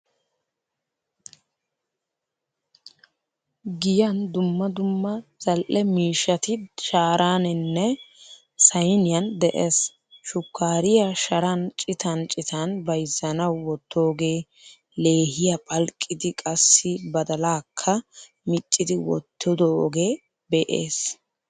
Giyan dumma dumma zal''e miishshati sharanine sayniyan de'ees. Shukariyaa sharan citan citan bayzzanawu wottoge, leehiyaa phalqqidi qassi badalaakka miccidi wottidoge de'ees.